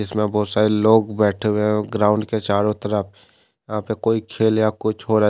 इसमें बहुत सारे लोग बैठे हुए है ग्राउंड के चारों तरफ यहां पे कोई खेल या कुछ हो रहा--